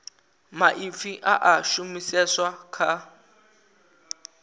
maipfi a a shumiseswa kha